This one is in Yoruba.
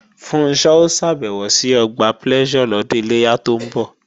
Funṣọ́ ó ṣàbẹ̀wò sí Ọgbà Pleasure lọ́dún Iléyá tó ń bọ̀